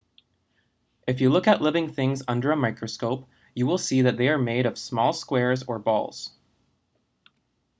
if you look at living things under a microscope you will see that they are made of small squares or balls